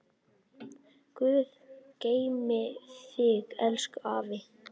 Guð geymi þig, elsku afi.